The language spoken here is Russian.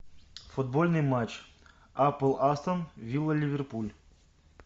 футбольный матч апл астон вилла ливерпуль